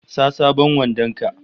Sa sabon wandon ka!